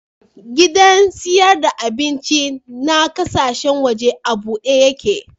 Gidan siyar da abinci na kasashen waje a bude yake.